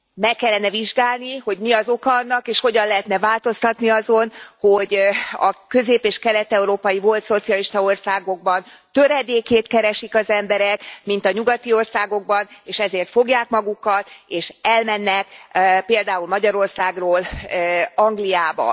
Meg kellene vizsgálni, hogy mi az oka annak, és hogyan lehetne változtatni azon, hogy a közép és kelet európai volt szocialista országokban töredékét keresik az emberek, mint a nyugati országokban, és ezért fogják magukat, és elmennek, például Magyarországról Angliába.